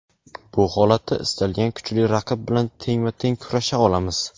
Bu holatda istalgan kuchli raqib bilan tengma-teng kurasha olamiz;.